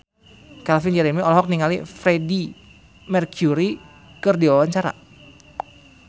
Calvin Jeremy olohok ningali Freedie Mercury keur diwawancara